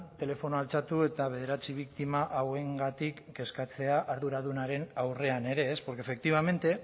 telefonoa altxatu eta bederatzi biktima hauengatik kezkatzea arduradunaren aurrean ere porque efectivamente